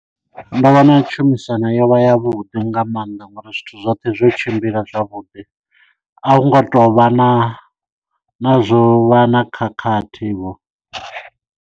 Ndo vhona tshumisano yo vha ya vhuḓi nga maanḓa ngori zwithu zwoṱhe zwo tshimbila zwavhuḓi a hu ngo tou vha na na zwo vha na khakhathi vho.